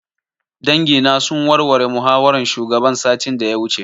Dangi na sun warware muhawaran shugaban satin da ya wuce